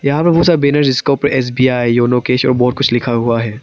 यहां पर बहुत सारा बैनर जिसका ऊपर एस_बी_आई योनो कैश और बहोत कुछ लिखा हुआ है।